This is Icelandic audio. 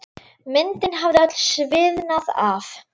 Myndin hafði öll sviðnað af.